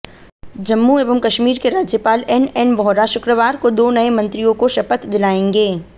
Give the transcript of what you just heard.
जम्मू एवं कश्मीर के राज्यपाल एनएन वोहरा शुक्रवार को दो नए मंत्रियों को शपथ दिलाएंगे